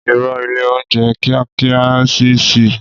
Ìrõ, ìlé ounjé kìákìá ò n sí sísí